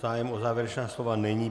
Zájem o závěrečná slova není.